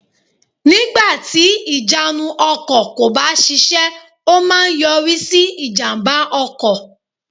Nígbàtì ìjánu ọkò kò bá sisé ó má a nyorí sí ìjàmbá ọkò